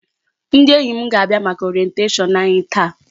Ndị enyi m ga-abịa maka Orientation anyị taa.